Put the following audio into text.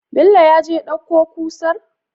Bello yaje ya ɗauko kusar?